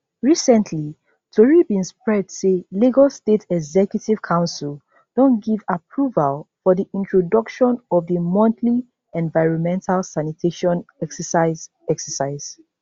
recently tori bin spread say lagos state executive council don give approval for di introduction of di monthly environmental sanitation exercise exercise